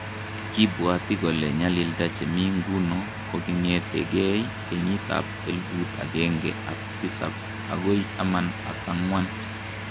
kibwati kole nyalilda che mi nguno kokingetegeey kenyit ab elput ageenge ak tisab agoy taman ak angwan